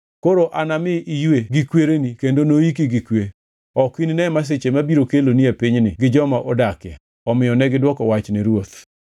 Koro anami iywe gi kwereni kendo noiki gi kwe. Ok inine masiche mabiro kelone pinyni gi joma odakie.’ ” Omiyo negidwoko wach ne ruoth.